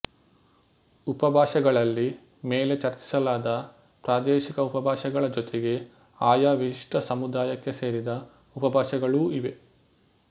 ಉಪಭಾಷೆಗಳಲ್ಲಿ ಮೇಲೆ ಚರ್ಚಿಸಲಾದ ಪ್ರಾದೇಶಿಕ ಉಪಭಾಷೆಗಳ ಜೊತೆಗೆ ಆಯಾ ವಿಶಿಷ್ಟ ಸಮುದಾಯಕ್ಕೆ ಸೇರಿದ ಉಪಭಾಷೆಗಳೂ ಇವೆ